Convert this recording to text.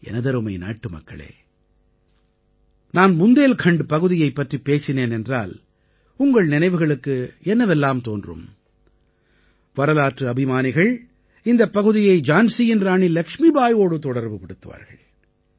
எனதருமை நாட்டுமக்களே நான் புந்தேல்கண்ட் பகுதியைப் பற்றிப் பேசினேன் என்றால் உங்கள் நினைவுகளுக்கு என்னவெல்லாம் தோன்றும் வரலாற்று அபிமானிகள் இந்தப் பகுதியை ஜான்சியின் இராணி லக்ஷ்மிபாயோடு தொடர்புபடுத்துவார்கள்